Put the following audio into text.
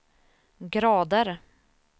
grader